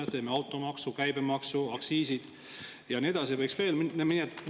Me teeme automaksu, käibemaksu, aktsiise ja nii edasi.